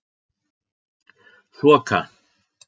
Þoka